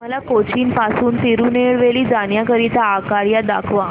मला कोचीन पासून तिरूनेलवेली जाण्या करीता आगगाड्या दाखवा